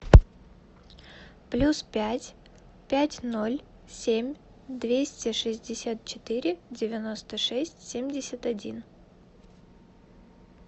плюс пять пять ноль семь двести шестьдесят четыре девяносто шесть семьдесят один